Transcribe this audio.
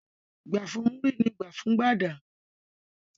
Gbà fún Múrí ni gbà fún Gbàdà.